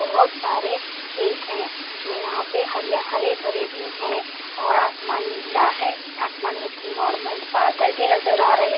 बहुत सारे खेत हैं जो यहाँ पे हरि हरे भरे भी हैं और आसमान नीला है आसमान में जो नॉर्मल बादल भी नज़र आ रहे।